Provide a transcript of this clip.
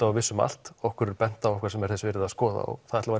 og vissum allt okkur er bent á eitthvað sem er þess virði að skoða og það ætlum